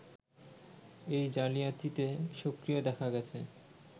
এই জালিয়াতিতে সক্রিয় দেখা গেছে